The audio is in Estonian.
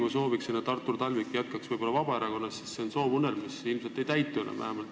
Ma soovisin, et Artur Talvik jätkaks Vabaerakonnas, aga see on soovunelm, mis ilmselt ei täitu enam.